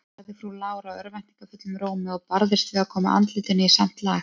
sagði frú Lára örvæntingarfullum rómi, og barðist við að koma andlitinu í samt lag.